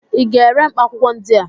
ị ga-ere mkpaakwụkwọ ndị a?